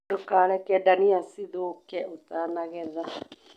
Ndũkareke ndania cithuke ũtanagetha.